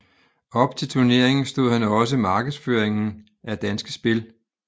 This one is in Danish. Op til turneringen stod han også markedsføringen af Danske Spil